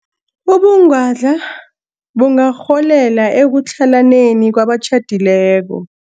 Ubungwadla bungarholela ekutlhalaneni kwabatjhadileko.